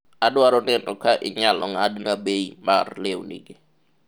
adwaro neno ka inyalo ng'adna bei mar lewnigi